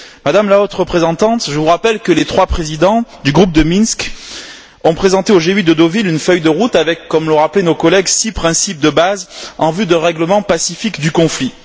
Madame la Haute représentante, je vous rappelle que les trois présidents du groupe de Minsk ont présenté au G8 de Deauville une feuille de route avec, comme l'ont rappelé nos collègues, six principes de base en vue d'un règlement pacifique du conflit.